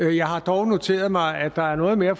jeg har dog noteret mig at der er noget mere